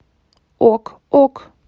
ок ок